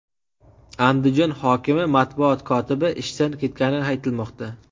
Andijon hokimi matbuot kotibi ishdan ketgani aytilmoqda.